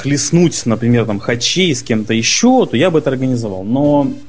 хлестнуть например там хачи с кем-то ещё то я бы это организовал но